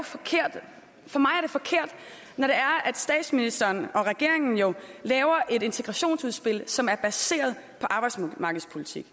forkert når statsministeren og regeringen laver et integrationsudspil som er baseret på arbejdsmarkedspolitik